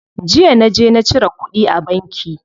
Jiya naje na cire kuɗi a banki.